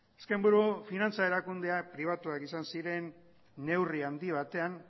azken buru finantza erakundeak pribatuak izan ziren neurri handia batean